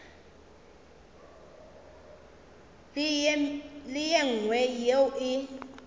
le ye nngwe yeo e